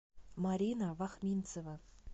марина вахминцева